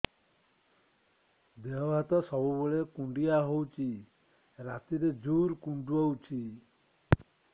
ଦେହ ହାତ ସବୁବେଳେ କୁଣ୍ଡିଆ ହଉଚି ରାତିରେ ଜୁର୍ କୁଣ୍ଡଉଚି